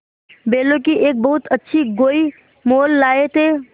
बैलों की एक बहुत अच्छी गोई मोल लाये थे